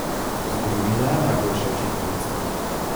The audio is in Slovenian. Zgodovina je najboljša učiteljica.